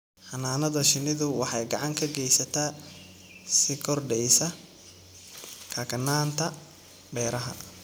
Xannaanada shinnidu waxay gacan ka geysataa sii kordhaysa kakanaanta beeraha.